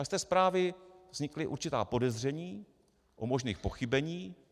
A z té zprávy vznikla určitá podezření o možných pochybeních.